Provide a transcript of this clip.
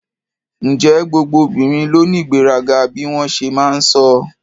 Ǹjẹ́ gbogbo obìnrin ló ní ìgbéraga bí wọ́n ṣe máa ń sọ?